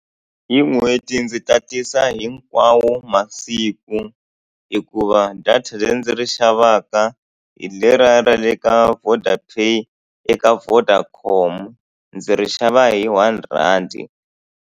Hi n'hweti ndzi tatisa hinkwawo masiku, hikuva data leri ndzi ri xavaka hi leriya ra le ka VodaPay eka Vodacom. Ndzi ri xava hi one rhandi.